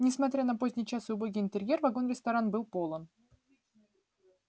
несмотря на поздний час и убогий интерьер вагон-ресторан был полон